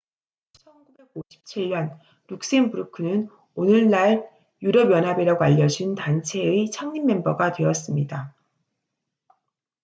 1957년 룩셈부르크는 오늘날 유럽 연합이라고 알려진 단체의 창립 멤버가 되었습니다